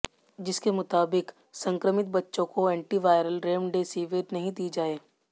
जिसके मुताबिक संक्रमित बच्चों को एंटी वायरल रेमडेसिविर नहीं दी जाए